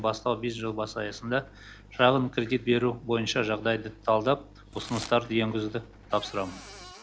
бастау бизнес жобасы аясында шағын кредит беру бойынша жағдайды талдап ұсыныстар енгізуді тапсырамын